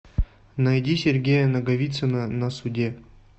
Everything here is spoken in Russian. найди сергея наговицына на суде